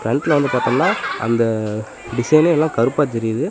Front ல வந்து பாத்தம்னா அந்த டிசைனே எல்லா கருப்பா தெரியிது.